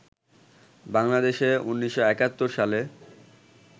বাংলাদেশে ১৯৭১ সালে